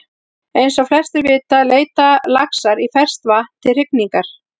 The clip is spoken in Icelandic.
Eins og flestir vita leita laxar í ferskt vatn til hrygningar.